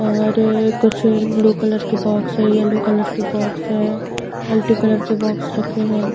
और कुछ blue colour के बॉक्स है येल्लो कलर के बॉक्स है मल्टी कलर के बॉक्स रखे है।